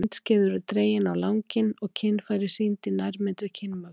Myndskeið eru dregin á langinn og kynfæri sýnd í nærmynd við kynmök.